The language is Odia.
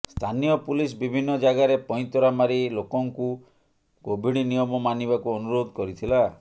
ସ୍ଥାନୀୟ ପୁଲିସ ବିଭିନ୍ନ ଜାଗାରେ ପଇଁତରା ମାରି ଲୋକଙ୍କୁ କୋଭିଡ଼ ନିୟମ ମାନିବାକୁ ଅନୁରୋଧ କରିଥିଲା